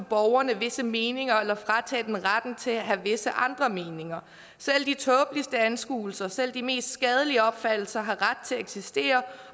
borgerne visse meninger eller fratage dem retten til at have visse andre meninger selv de tåbeligste anskuelser selv de mest skadelige opfattelser har ret til at eksistere